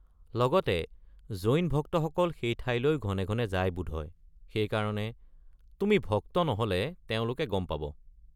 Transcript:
লগতে জৈন ভক্তসকল সেই ঠাইলৈ ঘনে ঘনে যায় বোধহয়, সেইকাৰণে তুমি ভক্ত নহ'লে তেওঁলোকে গম পাব।